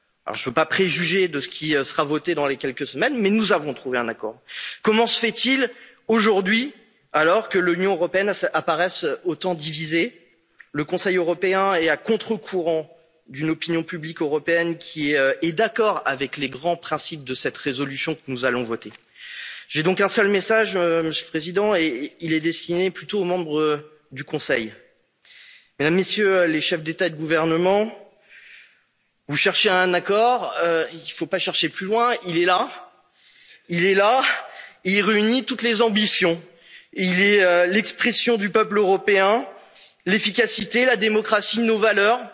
un accord. Je ne veux pas préjuger de ce qui sera voté dans les prochaines semaines mais nous avons trouvé un accord. Alors comment se fait il, aujourd'hui, que l'Union européenne apparaisse autant divisée? Le Conseil européen est à contre courant d'une opinion publique européenne qui est d'accord avec les grands principes de cette résolution que nous allons voter. Je n'ai donc qu'un seul message, Monsieur le Président, et il est plutôt destiné aux membres du Conseil. Mesdames et Messieurs les chefs d'État et de gouvernement, vous cherchiez un accord, il ne faut pas chercher plus loin, il est là et il réunit toutes les ambitions. Il est l'expression du peuple européen, l'efficacité, la démocratie,